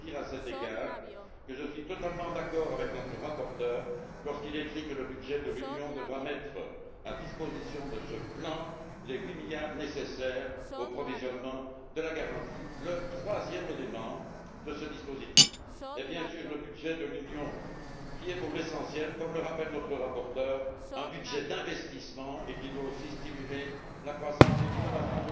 À cet égard, je veux dire que je suis totalement d'accord avec notre rapporteur lorsqu'il écrit que le budget de l'Union devra mettre à disposition de ce plan les huit milliards nécessaires au provisionnement de la garantie. Le troisième élément de ce dispositif est, bien sûr, le budget de l'Union qui est, pour l'essentiel, comme le rappelle notre rapporteur, un budget d'investissement et qui doit aussi stimuler la croissance et l'innovation.